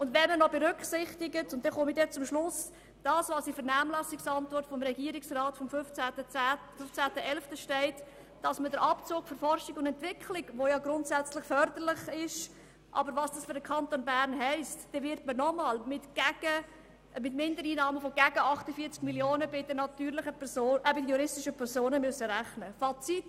Wenn man noch berücksichtigt, was in der Vernehmlassungsantwort des Regierungsrats vom 15. 11. 2017 steht, wird ersichtlich, dass man durch den Abzug für Forschung und Entwicklung nochmals mit Mindereinnahmen von gegen 48 Mio. Franken bei den juristischen Personen rechnen muss.